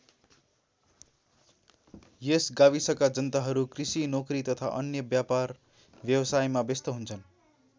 यस गाविसका जनताहरू कृषि नोकरी तथा अन्य व्यापारव्यावसायमा व्यस्त हुन्छन्।